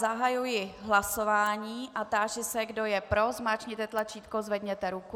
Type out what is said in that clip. Zahajuji hlasování a táži se, kdo je pro, zmáčkněte tlačítko, zvedněte ruku.